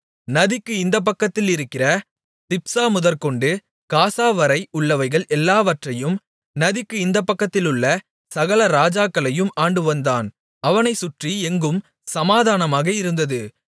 நதிக்கு இந்த பக்கத்தில் இருக்கிற திப்சாமுதற்கொண்டு காசாவரை உள்ளவைகள் எல்லாவற்றையும் நதிக்கு இந்தப்பக்கத்திலுள்ள சகல ராஜாக்களையும் ஆண்டுவந்தான் அவனைச் சுற்றி எங்கும் சமாதானமாக இருந்தது